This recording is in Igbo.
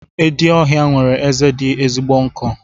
Edi ọhịa nwere eze dị ezigbo nkọ.